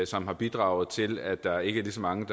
som har bidraget til at der ikke er lige så mange